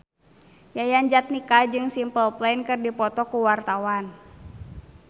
Yayan Jatnika jeung Simple Plan keur dipoto ku wartawan